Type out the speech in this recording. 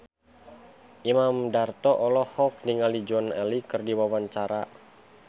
Imam Darto olohok ningali Joan Allen keur diwawancara